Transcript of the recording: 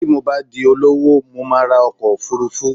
Bí mo bá di olówó, mo máa ra ọkọ̀ òfuurufú